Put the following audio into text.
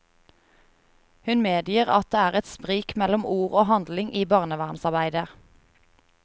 Hun medgir at det er et sprik mellom ord og handling i barnevernsarbeidet.